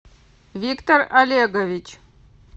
виктор олегович